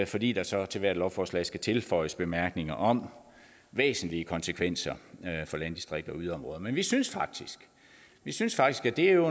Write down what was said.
fordi der så til hvert lovforslag skal tilføjes bemærkninger om væsentlige konsekvenser for landdistrikter og yderområder men vi synes vi synes faktisk at det jo